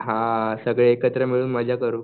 हां सगळे एकत्र मिळून मजा करू.